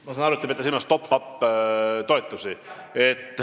Ma saan aru, et te peate silmas top-up-toetusi.